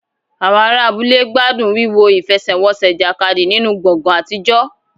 Àwọn ará abúlé gbádùn wíwo ìfẹsẹ̀wọnsẹ̀ ìjàkadì nínú gbọ̀ngàn àtijọ́.